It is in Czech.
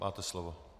Máte slovo.